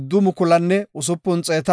Biniyaamepe 35,400